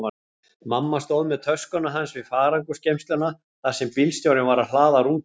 Mamma stóð með töskuna hans við farangursgeymsluna þar sem bílstjórinn var að hlaða rútuna.